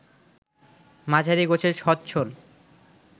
মাঝারি গোছের সচ্ছল